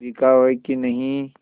बिकाऊ है कि नहीं